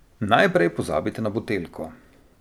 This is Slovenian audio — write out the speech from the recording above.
Najprej pozabite na buteljko.